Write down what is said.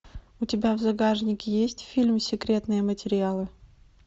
у тебя в загашнике есть фильм секретные материалы